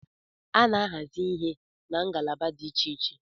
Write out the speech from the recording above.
A na-ahazi ihe na ngalaba dị Iche iche